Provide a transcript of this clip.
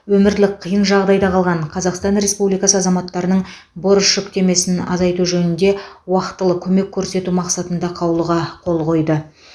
өмірлік қиын жағдайда қалған қазақстан республикасы азаматтарының борыш жүктемесін азайту жөнінде уақтылы көмек көрсету мақсатында қаулыға қол қойды